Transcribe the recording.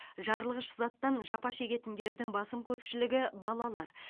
жарылғыш заттан жапа шегетіндердің басым көпшілігі балалар